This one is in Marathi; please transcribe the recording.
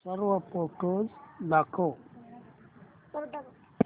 सर्व फोटोझ दाखव